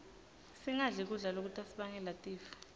singadli kudla lokutasibangela tifo